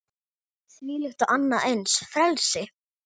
Þvílíkt og annað eins frelsi!